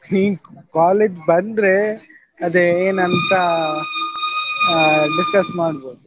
ನೀನ್ college ಬಂದ್ರೆ ಅದೇ ಏನಂತ ಆ discuss ಮಾಡ್ಬಹುದು.